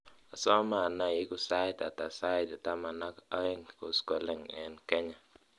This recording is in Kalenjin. asome anai igu sait ata sait tama ak oeng koskolen en kenya